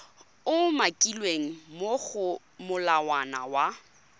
umakilweng mo go molawana wa